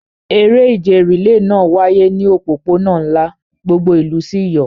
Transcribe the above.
Eré ìje rìléè náà wáyé ní òpópónà ńlá, gbogbo ìlú sì yọ̀.